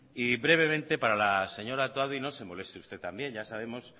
y brevemente para la señora otadui no se moleste usted también ya sabemos